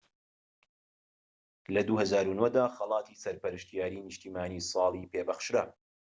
لە ٢٠٠٩ دا خەڵاتی سەرپەرشتیاری نیشتیمانیی ساڵی پێ بەخشرا